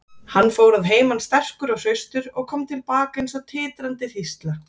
Hann fór að heiman sterkur og hraustur og kom til baka eins og titrandi hrísla.